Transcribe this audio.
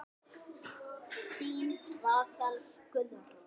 Þín Rakel Guðrún.